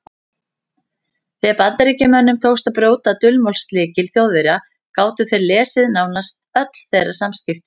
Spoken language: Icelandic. Þegar Bandamönnum tókst að brjóta dulmálslykil Þjóðverja gátu þeir lesið nánast öll þeirra samskipti.